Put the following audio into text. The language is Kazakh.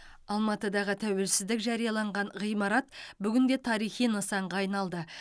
алматыдағы тәуелсіздік жарияланған ғимарат бүгінде тарихи нысанға айналды